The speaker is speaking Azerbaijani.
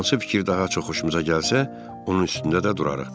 Hansı fikir daha çox xoşumuza gəlsə, onun üstündə də durarıq.